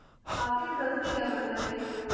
ਕਾਫ਼ੀ interesting ਹੈ ਮੰਦਿਰ ਇਹ ਜੋ